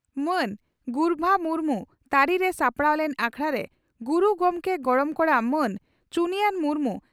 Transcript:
ᱢᱟᱱ ᱜᱩᱨᱵᱷᱟ ᱢᱩᱨᱢᱩ ᱛᱟᱹᱨᱤᱨᱮ ᱥᱟᱯᱲᱟᱣ ᱞᱮᱱ ᱟᱠᱷᱲᱟ ᱨᱮ ᱜᱩᱨᱩ ᱜᱚᱢᱠᱮ ᱜᱚᱲᱚᱢ ᱠᱚᱲᱟ ᱢᱟᱱ ᱪᱩᱱᱭᱟᱱ ᱢᱩᱨᱢᱩ